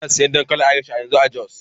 Ina siyan dankalin Irish a yanzu a Jos.